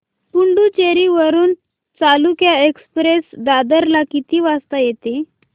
पुडूचेरी वरून चालुक्य एक्सप्रेस दादर ला किती वाजता येते